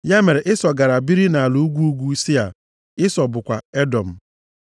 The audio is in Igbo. Ya mere, Ịsọ gara biri nʼala ugwu ugwu Sia, Ịsọ bụkwa Edọm.